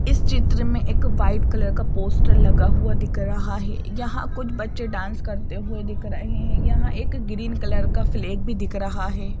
इस चित्र में एक वाइट कलर का पोस्टर लगा हुआ दिख रहा है यहां कुछ बच्चे डांस करते हुए दिख रहे हैं यहां एक ग्रीन कलर का फ्लैग भी दिख रहा है।